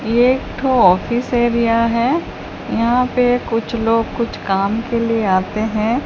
एक ठो office area है यहां पे कुछ लोग कुछ काम के लिए आते हैं।